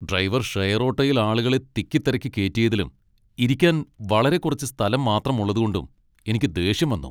Driver share ഓട്ടോയിൽ ആളുകളെ തിക്കി തിരക്കി കേറ്റിയതിലും ഇരിക്കാൻ വളരെ കുറച്ച് സ്ഥലം മാത്രം ഉള്ളതുകൊണ്ടും എനിക്ക് ദേഷ്യം വന്നു.